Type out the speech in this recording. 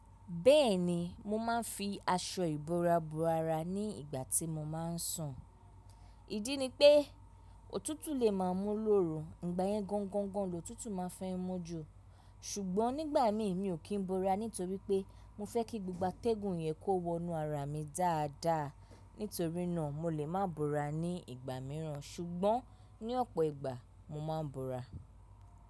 Bẹ́ẹ̀ni, mo máa ń fi aṣọ ìbora bo ara ní ìgbà tí mo máa ń sùn. Ìdí ni pé, òtútù lè máa mú lóru, ìgbà yẹn gọ́ńgọ́ńgọ́ń lo tútù máa fẹ́ mú ju. Ṣùgbọ́n nígbà imi mi ò kí n bora nítorí pé mo fẹ́ kí gbogbo atẹ́gùn yẹn kó wọnú ara mi dáadáa. Nítorí náà mo lè má bora ní ìgbà mìíràn ṣùgbọ́n ní ọ̀pọ̀ ìgbà mo máa ń bora.